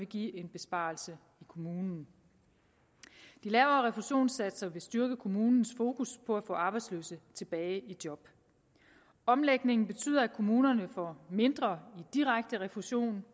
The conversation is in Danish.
give en besparelse i kommunen de lavere refusionssatser vil styrke kommunens fokus på at få arbejdsløse tilbage i job omlægningen betyder at kommunerne får mindre i direkte refusion